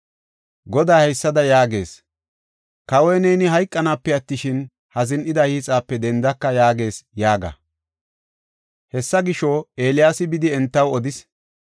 Goday haysada yaagees; ‘Kawaw, neeni hayqanaape attishin, ha zin7ida hiixape dendaka’ yaagees” yaaga. Hessa gisho, Eeliyaasi bidi entaw odis.